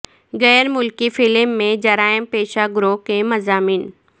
غیر ملکی فلم میں جرائم پیشہ گروہوں کے مضامین